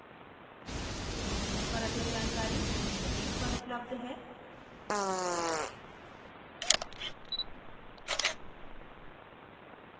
इस मिशन पर अधिक जानकरी निम्न लिंक पर उपलब्ध है